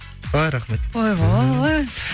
ой рахмет ойбой